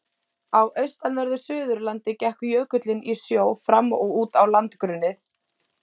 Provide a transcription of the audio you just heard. Á austanverðu Suðurlandi gekk jökullinn í sjó fram og út á landgrunnið.